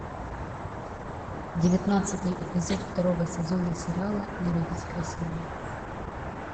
девятнадцатый эпизод второго сезона сериала не родись красивой